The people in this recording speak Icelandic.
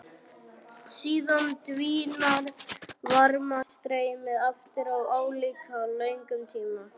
Síðan dvínar varmastreymið aftur á álíka löngum tíma.